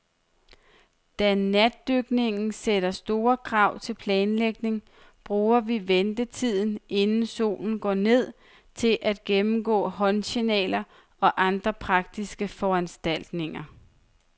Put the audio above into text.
Da natdykning sætter store krav til planlægning, bruger vi ventetiden, inden solen går ned, til at gennemgå håndsignaler og andre praktiske foranstaltninger.